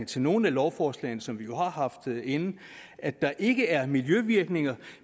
til nogle af lovforslagene som vi jo har haft inde at der ikke er miljøvirkninger